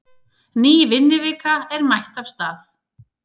Ný vinnuvika er mætt af stað.